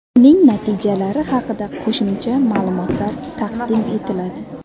Uning natijalari haqida qo‘shimcha ma’lumotlar taqdim etiladi.